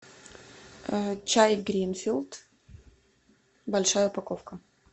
чай гринфилд большая упаковка